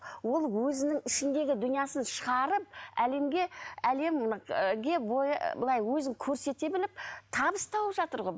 ол өзінің ішіндегі дүниесін шығарып әлемге әлемге былай өзін көрсете біліп табыс тауып жатыр ғой